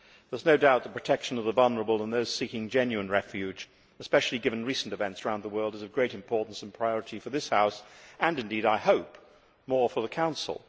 There is no doubt that the protection of the vulnerable and those seeking genuine refuge, especially given recent events around the world, is of great importance and priority for this House and, I hope, is even more important for the Council.